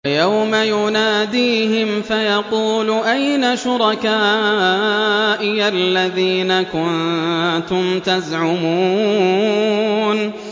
وَيَوْمَ يُنَادِيهِمْ فَيَقُولُ أَيْنَ شُرَكَائِيَ الَّذِينَ كُنتُمْ تَزْعُمُونَ